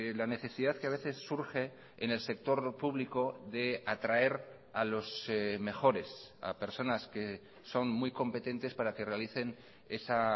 la necesidad que a veces surge en el sector público de atraer a los mejores a personas que son muy competentes para que realicen esa